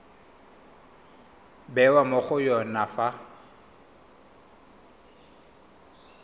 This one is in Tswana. bewa mo go yone fa